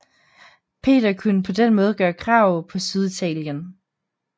Peter kunne på den måde gøre krav på Syditalien